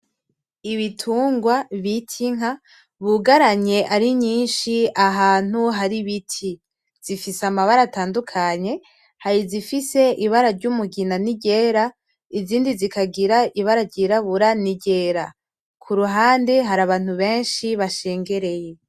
Ibitungwa bita Inka bugaranye ari nyinshi ahantu hari ibiti zifise amabara atandukanye hari izifise ibara ry,umugina niryera izindi zikagira ibara ryirabura niryera kuruhande hari abantu benshi bashengereye.